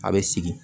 A bɛ sigi